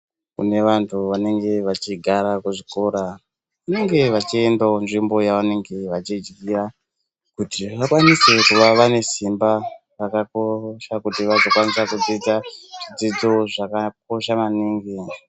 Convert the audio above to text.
Kune vantu vanenge vachigara kuzvikora vanenge vachiendawo nzvimbo yavanenge vachidyira kuti vakwanise kuva vane simba rakakosha kuti vazokwanisa kudzidza zvidzidzo zvakakosha maningi.